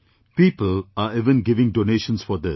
People are even giving donations for this